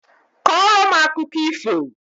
Kọrọ m akụkọ ifo!